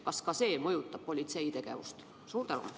Kas see mõjutab politsei tegevust?